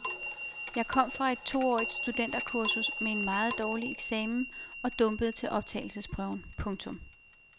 Jeg kom fra et toårigt studenterkursus med en meget dårlig eksamen og dumpede til optagelsesprøven. punktum